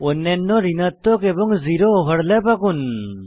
অন্যান্য ঋণাত্মক এবং জিরো ওভারল্যাপ আঁকুন